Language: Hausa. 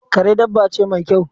Kare dabba ce mai kyau